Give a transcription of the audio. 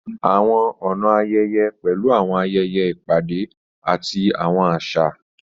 Àwọn ọ̀nà ayẹyẹ pẹ̀lú àwọn ayẹyẹ, ìpàdé, àti àwọn àṣà.